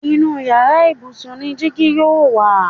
Inú yàrá ibùsùn ni dígí yóò wà